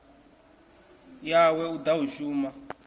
yawe u ḓa u shuma